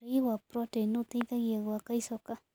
Ũrĩĩ wa proteĩnĩ ũteĩthagĩa gwaka ĩchoka